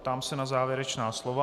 Ptám se na závěrečná slova.